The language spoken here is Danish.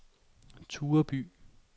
Tureby